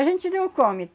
A gente não come.